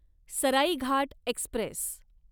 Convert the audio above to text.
Saraighat Express